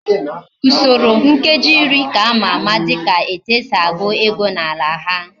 Usoro nkeji iri ka amara ama dika etu esi egu ego na ala ha